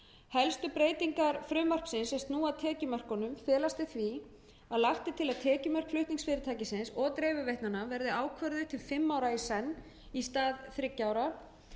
helstu breytingar frumvarpsins er snúa að tekjumörkunum felast í því að lagt er til að tekjumörk flutningsfyrirtækisins og dreifiveitnanna verði ákvörðuð til fimm ára í senn í stað þriggja ára